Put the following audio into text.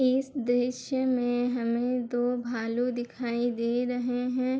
इस दृश्य में हमें दो भालू दिखाई दे रहे है।